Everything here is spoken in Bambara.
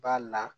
Ba la